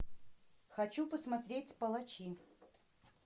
хочу посмотреть палачи